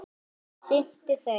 sinnti þeim.